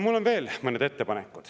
Mul on veel mõned ettepanekud.